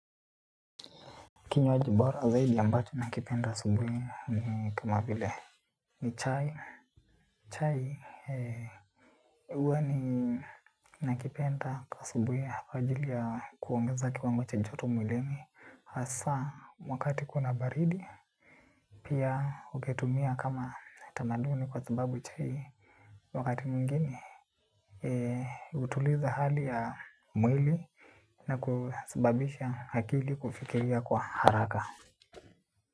Kinywaji bora zaidi ambacho nakipenda asubuhi ni kama vile ni chai. Chai uwa ni nakipenda asubuhi kwajili ya kuongeza kiwango cha joto mwilini. Hasa wakati kuna baridi pia ungetumia kama tamaduni kwa sababu chai. Wakati mwingine utuliza hali ya mwili na kusababisha akili kufikiria kwa haraka.